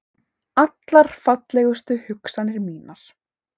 Allar fallegustu hugsanir mínar.